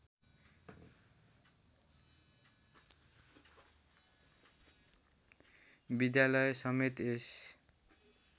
विद्यालय समेत यस